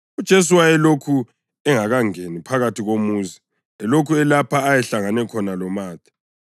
UJesu wayelokhu engakangeni phakathi komuzi elokhu elapho ayehlangane khona loMatha.